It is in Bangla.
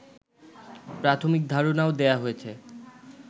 প্রাথমিক ধারণাও দেয়া হয়েছে